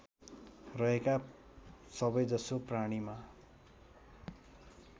रहेका सबैजसो प्राणीमा